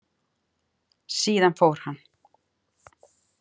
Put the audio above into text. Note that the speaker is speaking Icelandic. Síðan fór hann.